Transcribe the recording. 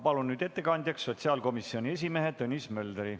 Palun nüüd ettekandjaks sotsiaalkomisjoni esimehe Tõnis Möldri.